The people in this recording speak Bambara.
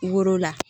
Woro la